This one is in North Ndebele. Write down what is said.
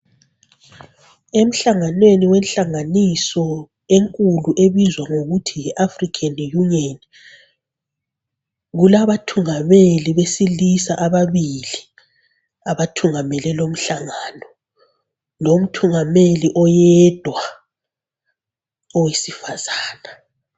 Emhlanganweni wenhlanganiso enkulu ebizwa ngokuthi yiAfrican Union kulabathungameli besilisa ababili abathungamele lomhlangano lomthungameli oyedwa owesifazana.